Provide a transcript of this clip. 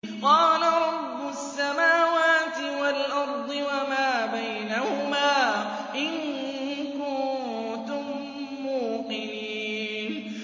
قَالَ رَبُّ السَّمَاوَاتِ وَالْأَرْضِ وَمَا بَيْنَهُمَا ۖ إِن كُنتُم مُّوقِنِينَ